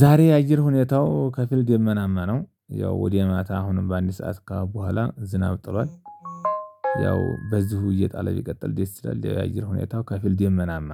ዛሬ የአየር ሁኔታው ከፊል ደመናማ ነው። ያው ወደ ማታ አሁንም በአንድ ሰዓት ከበኋላ ዝናብ ጥሏል። ያው በዚሁ እየጣለ ቢቀጥል ዲኤስል ያየሁኝ ሁኔታው ከፊል ደመናማ።